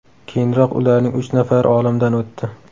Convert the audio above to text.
Keyinroq ularning uch nafari olamdan o‘tdi.